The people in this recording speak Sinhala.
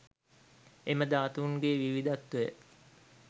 එම ධාතුන්ගේ විවිධත්වය